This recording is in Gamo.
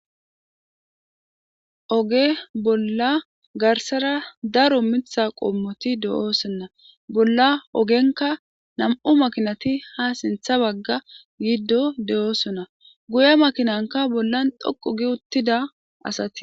Oge bolla garssara daro miththa qommoti de'osona. Bolla ogenkka nami'u makinati haa sinththa bagga yiiddo de'osona.guye makinankka bollan xoqqugi uttida asati de'osona.